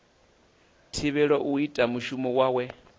thivhelwe u ita mushumo wawe